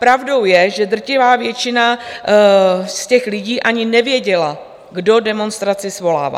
Pravdou je, že drtivá většina z těch lidí ani nevěděla, kdo demonstraci svolává.